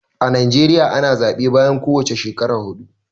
A Najeriya ana zaɓe bayan ko wace shekara huɗu.